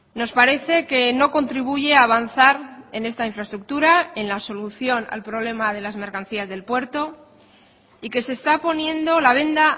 nos parece que no contribuye a avanzar en esta infraestructura en la solución al problema de las mercancías del puerto y que se está poniendo la venda